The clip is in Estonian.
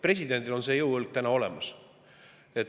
Presidendil on see jõuõlg täna olemas.